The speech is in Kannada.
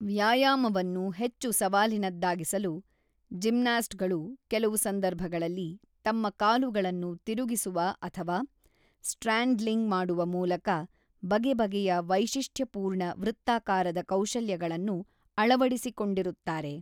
ವ್ಯಾಯಾಮವನ್ನು ಹೆಚ್ಚು ಸವಾಲಿನದ್ದಾಗಿಸಲು, ಜಿಮ್ನಾಸ್ಟ್‌ಗಳು ಕೆಲವು ಸಂದರ್ಭಗಳಲ್ಲಿ ತಮ್ಮ ಕಾಲುಗಳನ್ನು ತಿರುಗಿಸುವ ಅಥವಾ ಸ್ಟ್ರ್ಯಾಡ್ಲಿಂಗ್ ಮಾಡುವ ಮೂಲಕ ಬಗೆ ಬಗೆಯ ವೈಶಿಷ್ಟ್ಯಪೂರ್ಣ ವೃತ್ತಾಕಾರದ ಕೌಶಲ್ಯಗಳನ್ನು ಅಳವಡಿಸಿಕೊಂಡಿರುತ್ತಾರೆ.